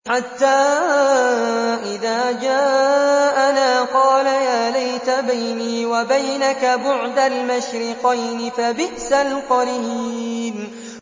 حَتَّىٰ إِذَا جَاءَنَا قَالَ يَا لَيْتَ بَيْنِي وَبَيْنَكَ بُعْدَ الْمَشْرِقَيْنِ فَبِئْسَ الْقَرِينُ